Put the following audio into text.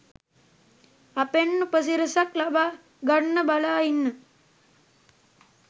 අපෙන් උපසි‍රැසියක් ලබාගන්න බලා ඉන්න